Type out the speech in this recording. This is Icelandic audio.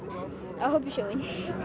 að hoppa í sjóinn